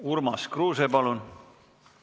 Urmas Kruuse, palun!